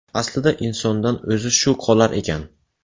Aslida insondan o‘zi shu qolar ekan.